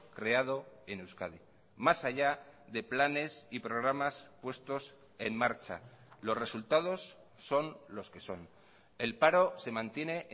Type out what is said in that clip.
creado en euskadi más allá de planes y programas puestos en marcha los resultados son los que son el paro se mantiene